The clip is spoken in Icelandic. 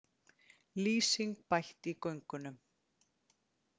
Lýsing bætt í göngunum